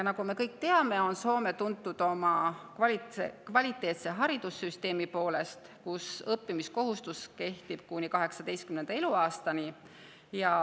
Nagu me kõik teame, on Soome tuntud oma kvaliteetse haridussüsteemi poolest, kus õppimiskohustus kehtib kuni 18. eluaastani.